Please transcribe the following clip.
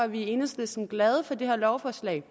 vi i enhedslisten glade for det her lovforslag